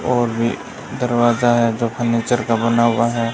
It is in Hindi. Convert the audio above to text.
और भी दरवाजा है जो फर्नीचर का बना हुआ है।